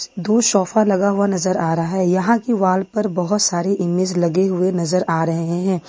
दो सोफा लगा हुआ नजर आ रहा है यहां की वॉल पर बहुत सारी इमेज लगे हुए नजर आ रहे हैं।